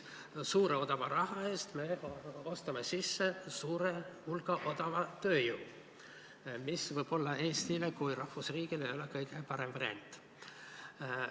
Rohke odava raha eest me ostame sisse suure hulga odavat tööjõudu, mis võib-olla Eestile kui rahvusriigile ei ole kõige parem variant.